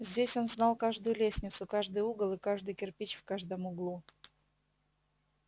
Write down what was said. здесь он знал каждую лестницу каждый угол и каждый кирпич в каждом углу